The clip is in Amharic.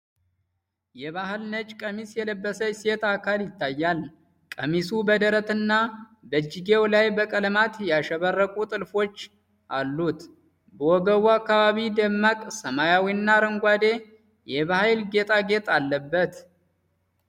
የባህል ነጭ ቀሚስ የለበሰች ሴት አካል ይታያል። ቀሚሱ በደረትና በእጅጌው ላይ በቀለማት ያሸበረቁ ጥልፎች አሉት፤ በወገቡ አካባቢ ደማቅ ሰማያዊና አረንጓዴ የባህል ጌጣጌጥ አለበት።